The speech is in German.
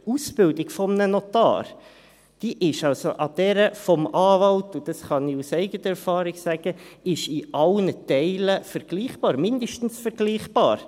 Die Ausbildung eines Notars, die ist mit der eines Anwalts – und das kann ich aus eigener Erfahrung sagen – in allen Teilen vergleichbar, mindestens vergleichbar.